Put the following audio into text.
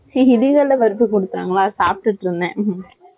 இங்க தீபாவளி எல்லாம் வருது சொல்லிட்டாங்களா அதான் சாப்டுகிட்டு இருந்தேன்.